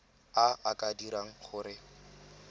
a a ka dirang gore